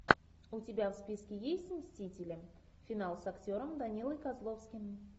у тебя в списке есть мстители финал с актером данилой козловским